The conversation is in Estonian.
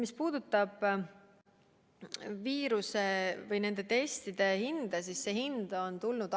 Mis puudutab nende testide hinda, siis see hind on alla läinud.